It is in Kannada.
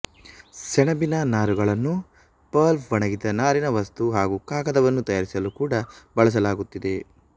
ಸೆಣಬಿನ ನಾರುಗಳನ್ನು ಪಲ್ಪ್ಒಣಗಿದ ನಾರಿನ ವಸ್ತು ಹಾಗು ಕಾಗದವನ್ನು ತಯಾರಿಸಲು ಕೂಡ ಬಳಸಲಾಗುತ್ತಿದೆ